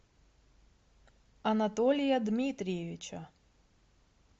анатолия дмитриевича